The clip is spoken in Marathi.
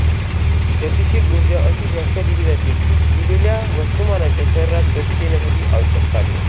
गतीशील उर्जा अशी व्याख्या दिली जाते की दिलेल्या वस्तुमानाच्या शरीरास गती देण्यासाठी आवश्यक कार्य